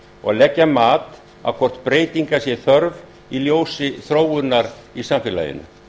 og leggja mat á hvort breytinga sé þörf í ljósi þróunar í samfélaginu